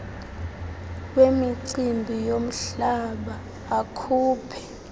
wemicimbi yomhlaba akhuphe